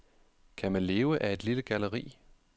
Kan man leve af et lille galleri?